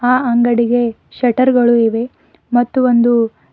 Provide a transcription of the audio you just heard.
ಆ ಅಂಗಡಿಗೆ ಶೆಟ್ಟರ್ ಗಳು ಇವೆ ಮತ್ತು ಒಂದು--